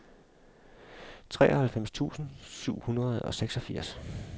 treoghalvfems tusind syv hundrede og seksogfirs